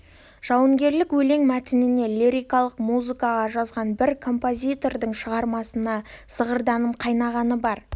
жауынгерлік өлең мәтініне лирикалық музыка жазған бір композитордың шығармасына зығырданым қайнағаны бар